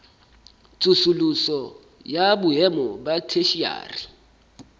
tsosoloso ya boemo ba theshiari